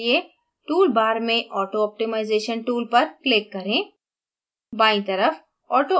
उपयुक्त बनाने के लिए tool bar में auto optimization tool पर click करें